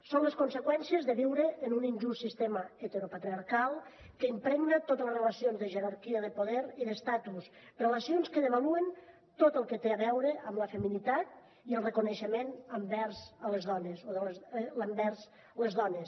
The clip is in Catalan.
són les conseqüències de viure en un injust sistema heteropatriarcal que impregna totes les relacions de jerarquia de poder i d’estatus relacions que devaluen tot el que té a veure amb la feminitat i el reconeixement envers les dones